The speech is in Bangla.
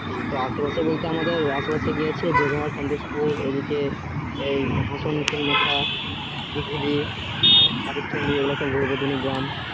এই তো আশেপাশে বলতে আমাদের জোঘাড়, সন্তোষপুর এই দিকে হাঁসুন তিনমাথা, দিঘুলী, কার্তিকচুরি এ গুলো সব ঘুরবো আর দুনিগ্রাম